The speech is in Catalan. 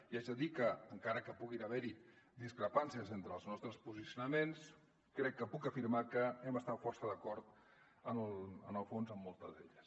i haig de dir que encara que puguin haver hi discrepàncies entre els nostres posicionaments crec que puc afirmar que hem estat força d’acord en el fons en moltes d’elles